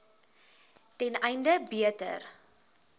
ten einde beter